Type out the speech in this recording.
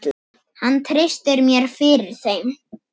Hann treysti mér fyrir þeim.